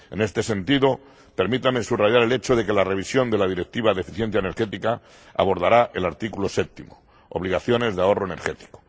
En este sentido, permítanme subrayar el hecho de que la revisión de la Directiva de eficiencia energética abordará el artículo séptimo, obligaciones de ahorro energético.